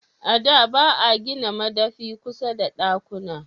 A da ba a gina madafi kusa da dakkuna